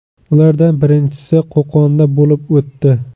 Ulardan birinchisi Qo‘qonda bo‘lib o‘tdi.